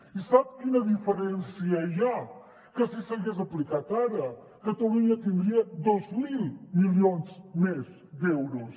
i sap quina diferència hi ha que si s’hagués aplicat ara catalunya tindria dos mil milions més d’euros